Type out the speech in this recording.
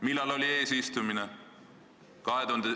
Millal oli eesistumine?